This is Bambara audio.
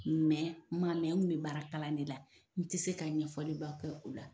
nga n kun be baara kalan de la .N tɛ se ka ɲɛfɔliba kɛ o la.